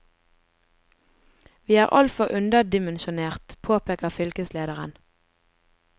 Vi er altfor underdimensjonert, påpeker fylkeslederen.